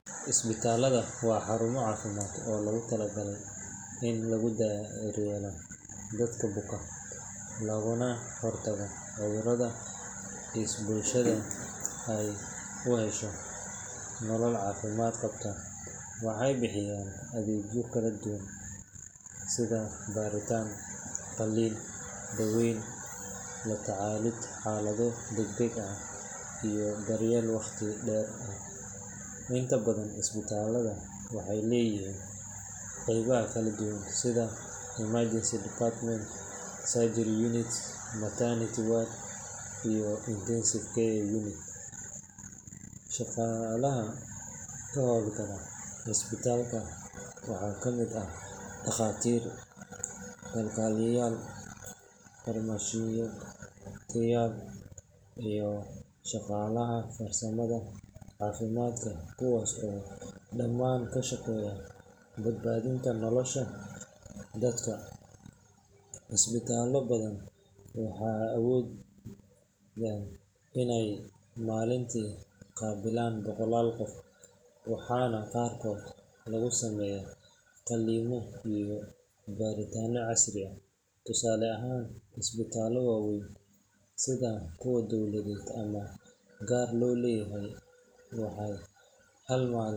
Isbitaallada waa xarumo caafimaad oo loogu talagalay in lagu daryeelo dadka buka, loogana hortago cudurrada si bulshada ay u hesho nolol caafimaad qabta. Waxay bixiyaan adeegyo kala duwan sida baaritaan, qalliin, daaweyn, la tacaalid xaalado degdeg ah, iyo daryeel waqti dheer ah. Inta badan isbitaallada waxay leeyihiin qeybaha kala duwan sida emergency department, surgery unit, maternity ward, iyo intensive care unit ICU. Shaqaalaha ka howl gala isbitaalka waxaa ka mid ah dhakhaatiir, kalkaaliyeyaal, farmashiistayaal, iyo shaqaalaha farsamada caafimaadka kuwaas oo dhammaan ka shaqeeya badbaadinta nolosha dadka. Isbitaallo badan waxay awoodaan inay maalintii qaabilaan boqolaal qof, waxaana qaarkood lagu sameeyaa qalliimo iyo baaritaanno casri ah. Tusaale ahaan, isbitaallo waaweyn sida kuwa dowladeed ama gaar loo leeyahay waxay hal maalin.